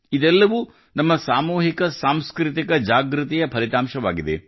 ಇದೆಲ್ಲವೂ ನಮ್ಮ ಸಾಮೂಹಿಕ ಸಾಂಸ್ಕೃತಿಕ ಜಾಗೃತಿಯ ಫಲಿತಾಂಶವಾಗಿದೆ